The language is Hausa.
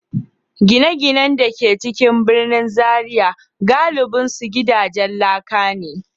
Gine-ginen da ke cikin birnin Zariya galibinsu gidajen laka ne.